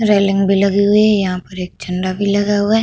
Railing भी लगी हुई है यहाँ पर एक झंडा भी लगा हुआ हैं।